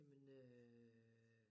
Jamen øh